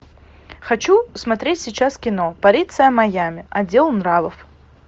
хочу смотреть сейчас кино полиция майами отдел нравов